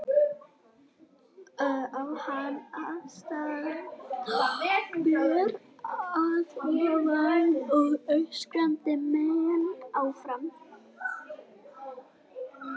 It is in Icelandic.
Á hann að standa ber að ofan og öskra menn áfram?